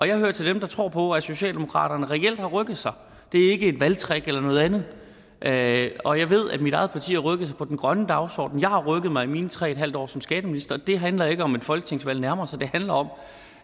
jeg hører til dem der tror på socialdemokratiet reelt har rykket sig det er ikke et valgtrick eller noget andet andet og jeg ved at mit eget parti har rykket sig på den grønne dagsorden jeg har rykket mig i mine tre en halv år som skatteminister det handler ikke om at et folketingsvalg nærmer sig det handler om